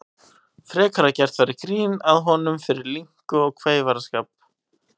Frekar að gert væri grín að honum fyrir linku og kveifarskap.